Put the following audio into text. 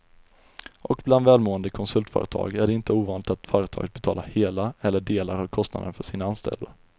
Och bland välmående konsultföretag är det inte ovanligt att företaget betalar hela eller delar av kostnaden för sina anställda.